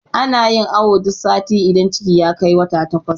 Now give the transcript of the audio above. ana. yin awo duk sati idan ciki ya Kai wata takwas